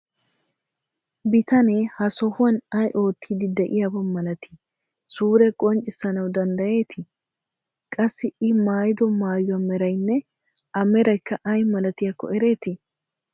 Bitanee ha sohuwan ay oottiiddi de'iyaba malatii suure qonccissanawu danddayeetii? Qassi I maayido maayuwa meraynne A meraykka ay miltiyakko ereetii?